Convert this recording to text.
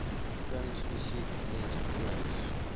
kuns musiek ens